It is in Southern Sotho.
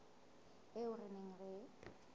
eo re neng re e